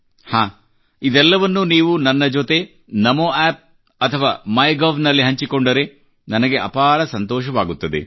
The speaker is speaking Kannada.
ಹಾಂ ಇದೆಲ್ಲವನ್ನು ನೀವು ನನ್ನ ಜೊತೆ ನಮೋ ಆಪ್ ಅಥವಾ ಮೈ ಗೌ ನಲ್ಲಿ ಹಂಚಿಕೊಂಡರೆ ನನಗೆ ಅಪಾರ ಸಂತೋಷವಾಗುತ್ತದೆ